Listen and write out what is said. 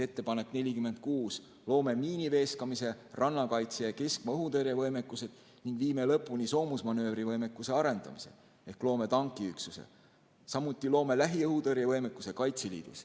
Ettepanek nr 46: "Loome miiniveeskamise, rannakaitse ja keskmaa õhutõrje võimekused ning viime lõpuni soomusmanöövrivõimekuse arendamise , samuti loome lähiõhutõrje võimekuse Kaitseliidus.